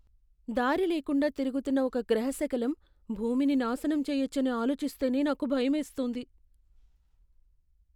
దారిలేకుండా తిరుగుతున్న ఒక గ్రహశకలం భూమిని నాశనం చేయచ్చని ఆలోచిస్తేనే నాకు భయమేస్తుంది.